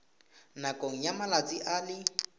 nakong ya malatsi a le